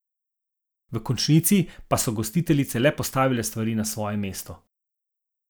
V končnici pa so gostiteljice le postavile stvari na svoje mesto.